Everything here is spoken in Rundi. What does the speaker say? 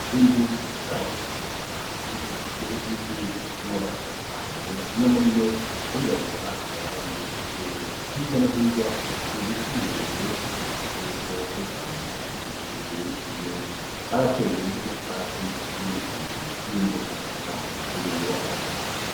Inzu isakaje amabati, ifise n'inkingi zifise amabara atandukanye, amwe muri yo arirabura ayandi arera; hirya no hirya hari ibiti birebire nk'ikimenyetso yuko ari ishamba rikikuje iyo nzu; barateye n'utwatsi turi imbere y'imbuga y'aho hari iyo nyubakwa.